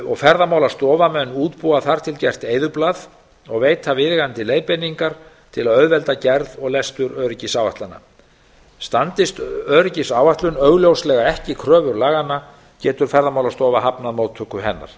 og ferðamálastofa mun útbúa þar til gert eyðublað og veita viðeigandi leiðbeiningar til að auðvelda gerð og lestur öryggisáætlana standist öryggisáætlun augljóslega ekki kröfur laganna getur ferðamálastofa hafnað móttöku hennar